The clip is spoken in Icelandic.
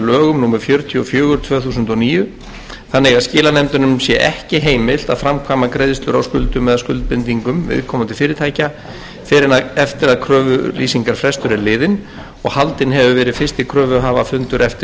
lögum númer fjörutíu og fjögur tvö þúsund og níu þannig að skilanefndunum sé ekki heimilt að framkvæma greiðslur á skuldum eða skuldbindingum viðkomandi fyrirtækja fyrr en eftir að kröfulýsingarfrestur er liðinn og haldinn hefur verið fyrsti kröfuhafafundur eftir